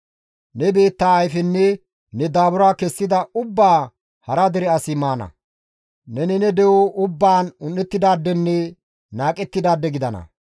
Ne biittaa kaththa ayfenne ne daabura kessida ubbaa hara dere asi maana; neni ne de7o ubbaan un7ettidaadenne qohettidaade gidana.